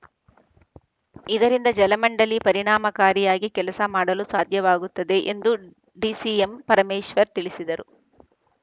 ಇದರಿಂದ ಜಲಮಂಡಳಿ ಪರಿಣಾಮಕಾರಿಯಾಗಿ ಕೆಲಸ ಮಾಡಲು ಸಾಧ್ಯವಾಗುತ್ತದೆ ಎಂದು ಡಿಸಿಎಂ ಪರಮೇಶ್ವರ್‌ ತಿಳಿಸಿದರು